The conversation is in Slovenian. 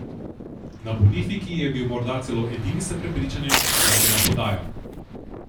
Na Bonifiki je bil morda celo edini s prepričanjem, da je bila podaja.